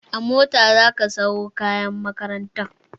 A mota za ka sawo kayan makarantar!